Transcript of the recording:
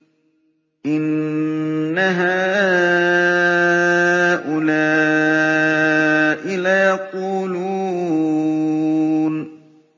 إِنَّ هَٰؤُلَاءِ لَيَقُولُونَ